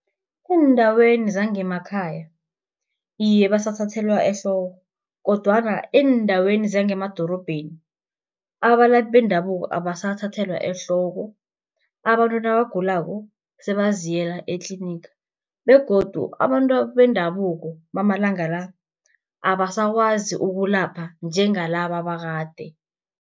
Eendaweni zangemakhaya iye basathathelwa ehloko, kodwana eendaweni zangemadorobheni abalaphi bendabuko abasathathelwa ehloko. Abantu nabagulako sebaziyela etliniga, begodu abantu bendabuko bamalanga la, abasakwazi ukulapha njengalaba bakade.